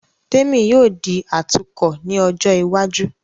Témì yóò di atukọ̀ ní ọjọ́ iwájú